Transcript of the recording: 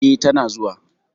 E tana zuwa.